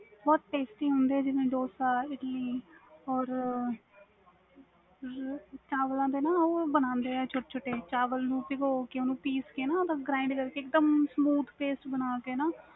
ਬਹੁਤ ਹੁੰਦੇ ਵ ਜਿਵੇ dosa, idli or ਚਾਵਲ ਦੇ ਹੋ ਬਣਦੇ ਵ ਛੋਟੇ ਛੋਟੇ ਚਾਵਲ ਨੂੰ ਪੀਓਕੇ ਪੀਸ ਕੇ grind ਓਹਨੂੰ smooth ਕਰਕੇ